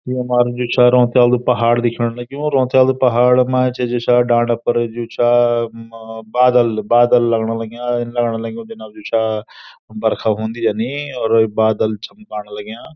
यु मार्ग जो छो रौंतेलु पहाड़ दिखेंण लग्युं रौंतेलु पहाड़ मा ऐंच जू छा डांडा पर जू छा अ बादल बादल लगण लग्याँ इन लगण लग्युं जना जू छा बरखा हून्दी या नि और बादल झम्काण लग्याँ।